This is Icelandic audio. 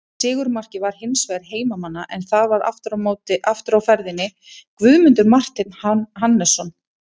Sigurmarkið var hins vegar heimamanna en þar var aftur á ferðinni Guðmundur Marteinn Hannesson.